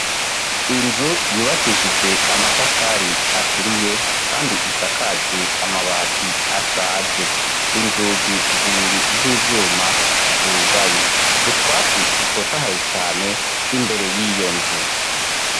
Inzu yubakishijwe amatafari aturiye kandi isakajwe amabati ashaje, inzugi zibiri z'ivyuma zugaye, utwatsi dutotahaye cane imbere y'iyo nzu.